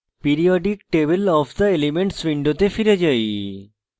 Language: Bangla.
periodic table of the elements window ফিরে যাই